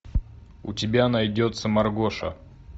у тебя найдется маргоша